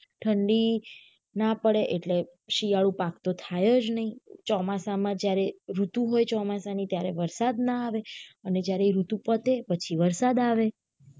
ઠંડી ના પડે એટલે શિયાળુ પાક તો થાય જ નાઈ ચોમાસામાં જયારે ઋતુ હોઈ ચોમાસ ની ત્યારે વરસાદ ના આવે અને જયારે આ ઋતુ પતે પછી વરસાદ આવે